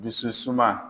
Dusu suma